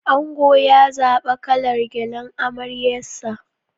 Ango ya zaɓa kalar gyallen amaryarsa.